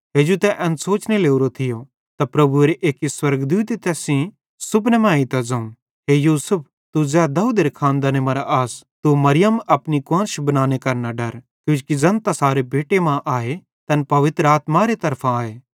हेजू तै एन सोचने लोरो थियो त प्रभुएरे एक्की स्वर्गदूते तैस सेइं सुपने मां एइतां ज़ोवं हे यूसुफ तू ज़ै दाऊदेरे खानदाने मरां आस तू मरियम अपनी कुआन्श बनाने करां न डर किजोकि ज़ैन तैसारे पेटे मां आए तैन पवित्र आत्मारे तरफां आए